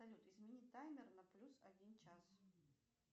салют измени таймер на плюс один час